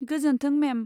गोजोन्थों, मेम।